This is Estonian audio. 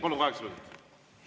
Palun, kaheksa minutit!